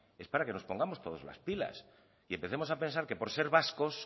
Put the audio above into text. es para que nos pongamos todos las pilas y empecemos a pensar que por ser vascos